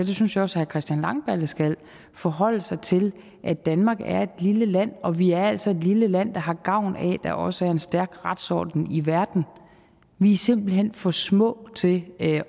det synes jeg også herre christian langballe skal at forholde sig til at danmark er et lille land og vi er altså et lille land der har gavn af at der også er en stærk retsorden i verden vi er simpelt hen for små til at